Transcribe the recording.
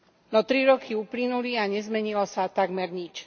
No tri roky uplynuli a nezmenilo sa takmer nič.